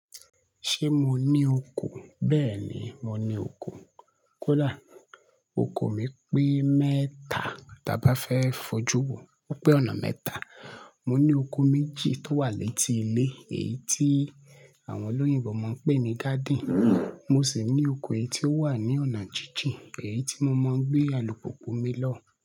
Ṣé mo ní oko? Bẹ́ẹ̀ ni, mo ní oko. Kódà oko mi pín mẹ́ta. Tí a bá fẹ́ fojú wo, ó pé ọ̀nà mẹ́ta. Mo ní oko méjì tó wà létí ilé, èyí tí àwọn olóyìnbo máa ń pè ní garden. Mo sì ní oko èyí tó wà ní ọ̀nà jíjìn, èyí tí mo máa ń gbé alùpùpù mi lọ.